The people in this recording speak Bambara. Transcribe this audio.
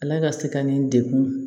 Ala ka se ka nin degun